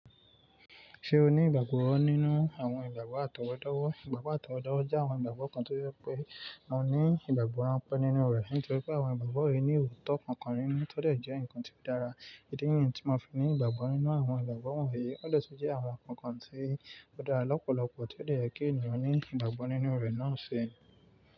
Ṣé o ní ìgbàgbọ́ nínú àwọn ìgbàgbọ́ àtọwọ́dọ́wọ́? Ìgbàgbọ́ àtọwọ́dọ́wọ́ jẹ́ àwọn ìgbàgbọ́ kan tó je pé a ní ìgbàgbọ́ ránpẹ́ nínú rẹ̀. Nítorí pé àwọn ìgbàgbọ́ yìí ní òótọ́ kankan nínú, tó dà jẹ́ ǹkan tí ó dára. Idi níyi tí mo fi ní ìgbàgbọ́ nínú àwọn ìgbàgbọ́ wọ̀nyí, ó de tún jẹ́ àwọn ǹkan kan tí ó dára lọ́pọ̀lọpọ̀ ti o dè yẹ kí ènìyàn ní ìgbàgbọ́ nínú rẹ̀ náà ṣi.